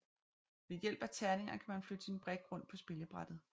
Ved hjælp af terninger kan man flytte sin brik rundt på spillebrættet